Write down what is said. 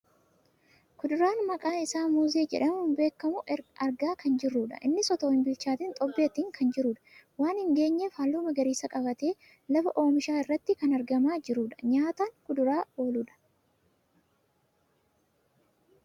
kuduraa maqaan isaa muuzii jedhamuun beekamu argaa kan jirrudha. innis otoo hin bilchaatiin xobbeetti kan jirudha. waan hin geenyeef halluu magariisaa qabatee lafa oomishaa irratti kan argamaa jirudha. nyaataan kuduraa ooludha.